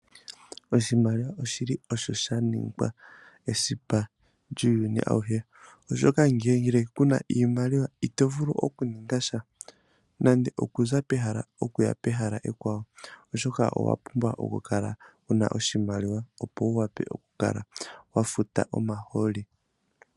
Oshimaliwa oshili osho shaningwa esipa lyuuyuni awuhe, oshoka ngele kuna iimaliwa itovulu okuningasha nande okuza pehala toyi pehala ekwawo oshoka owa pumbwa okukala wuna oshimaliwa opo wu wape okufuta omahooli.